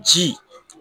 Ji